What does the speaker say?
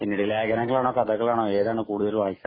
ലേഖനങ്ങളാണോ കഥകളാണോ ഏതാണ് കൂടുതൽ വായിക്കാറ്